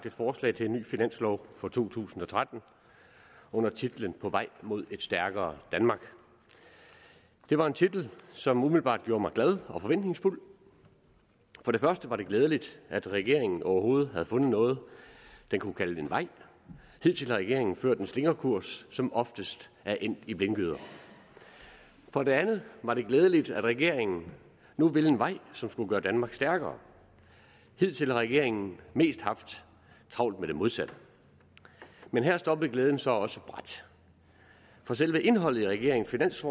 forslag til en ny finanslov for to tusind og tretten under titlen på vej mod et stærkere danmark det var en titel som umiddelbart gjorde mig glad og forventningsfuld for det første var det glædeligt at regeringen overhovedet havde fundet noget den kunne kalde en vej hidtil har regeringen fulgt en slingrekurs som oftest er endt i blindgyder for det andet var det glædeligt at regeringen nu ville en vej som skulle gøre danmark stærkere hidtil har regeringen mest haft travlt med det modsatte men her stoppede glæden så også brat for selve indholdet i regeringens